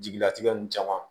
Jigilatigɛ ninnu caman